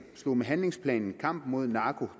slog med handlingsplanen kampen mod narko